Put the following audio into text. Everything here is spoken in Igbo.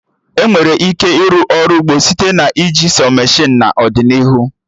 Emere ike ịrụ Ọrụ ugbo site na iji sọ meshịnụ n'ọdịnihu